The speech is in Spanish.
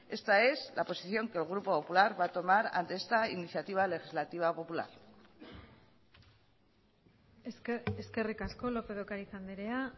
esta es la posición que el grupo popular va a tomar ante esta iniciativa legislativa popular eskerrik asko lópez de ocariz andrea